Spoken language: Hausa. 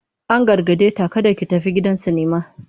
An gargade ta "kada ki tafi gidan sinima!"